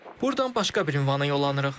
Burdan başqa bir ünvana yollanırıq.